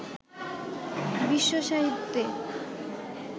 বিশ্বসাহিত্যে